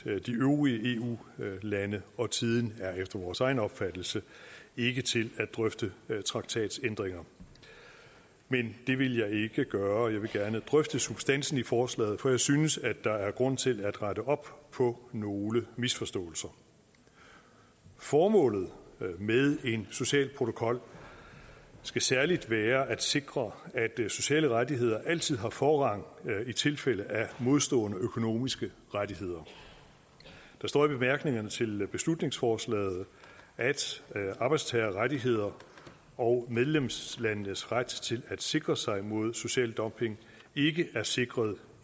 de øvrige eu lande og tiden er efter vores egen opfattelse ikke til at drøfte traktatændringer men det vil jeg ikke gøre jeg vil gerne drøfte substansen i forslaget for jeg synes der er grund til at rette op på nogle misforståelser formålet med en social protokol skal særlig være at sikre at sociale rettigheder altid har forrang i tilfælde af modstående økonomiske rettigheder der står i bemærkningerne til beslutningsforslaget at arbejdstagerrettigheder og medlemslandenes ret til at sikre sig mod social dumping ikke er sikret